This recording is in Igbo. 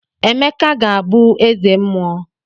Emeka ga-abụ eze mmuo.